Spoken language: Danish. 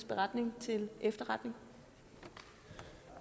beretning til efterretning